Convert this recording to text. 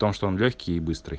в том что он лёгкий и быстрый